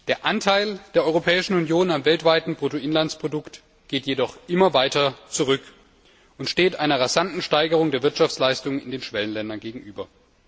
Der Anteil der Europäischen Union am weltweiten Bruttoinlandsprodukt geht jedoch immer weiter zurück und steht einer rasanten Steigerung der Wirtschaftsleistung in den Schwellenländern gegenüber.